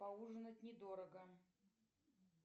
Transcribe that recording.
поужинать недорого